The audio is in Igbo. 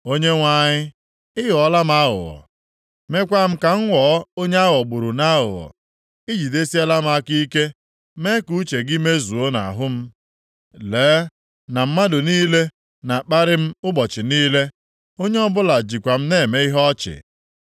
Onyenwe anyị, ị ghọọla m aghụghọ, meekwa m ka m ghọọ onye a ghọgburu nʼaghụghọ. I jidesiela m aka ike, mee ka uche gị mezuo m nʼahụ. Lee na mmadụ niile na-akparị m ụbọchị niile. Onye ọbụla jikwa m na-eme ihe ọchị.